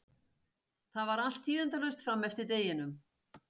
Það var allt tíðindalaust fram eftir deginum.